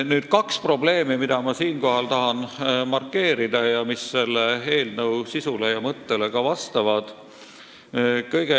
Nüüd kaks probleemi, mida ma tahan markeerida ning mis selle eelnõu sisule ja mõttele vastavad.